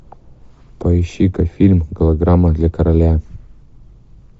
поищи ка фильм голограмма для короля